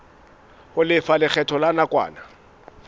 ho lefa lekgetho la nakwana